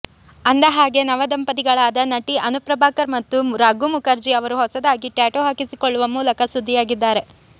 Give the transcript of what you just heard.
ಅಂದಹಾಗೆ ನವ ದಂಪತಿಗಳಾದ ನಟಿ ಅನು ಪ್ರಭಾಕರ್ ಮತ್ತು ರಘು ಮುಖರ್ಜಿ ಅವರು ಹೊಸದಾಗಿ ಟ್ಯಾಟೂ ಹಾಕಿಸಿಕೊಳ್ಳುವ ಮೂಲಕ ಸುದ್ದಿಯಾಗಿದ್ದಾರೆ